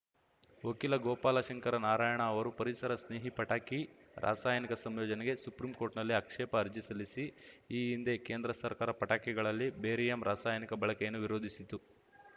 ವಕೀಲ ಗೋಪಾಲ ಶಂಕರ ನಾರಾಯಣ ಅವರು ಪರಿಸರ ಸ್ನೇಹಿ ಪಟಾಕಿ ರಾಸಾಯನಿಕ ಸಂಯೋಜನೆಗೆ ಸುಪ್ರೀಂ ಕೋರ್ಟ್‌ನಲ್ಲಿ ಆಕ್ಷೇಪ ಅರ್ಜಿ ಸಲ್ಲಿಸಿ ಈ ಹಿಂದೆ ಕೇಂದ್ರ ಸರ್ಕಾರ ಪಟಾಕಿಗಳಲ್ಲಿ ಬೇರಿಯಮ್ ರಾಸಾಯನಿಕ ಬಳಕೆಯನ್ನು ವಿರೋಧಿಸಿತು